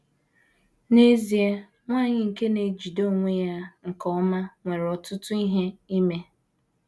N’ezie, nwanyị nke na - ejide onwe ya nke ọma nwere ọtụtụ ihe ime.